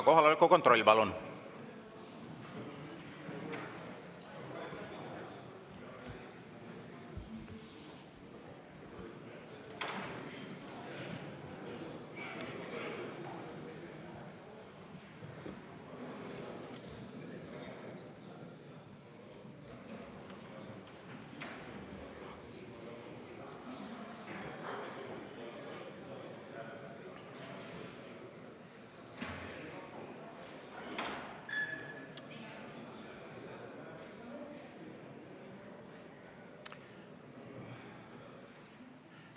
Kohaloleku kontroll, palun!